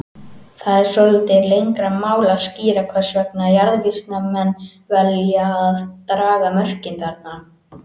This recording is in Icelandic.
Það er svolítið lengra mál að skýra hvers vegna jarðvísindamenn velja að draga mörkin þarna.